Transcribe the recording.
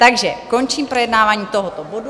Takže končím projednávání tohoto bodu.